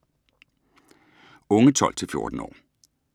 Unge 12-14 år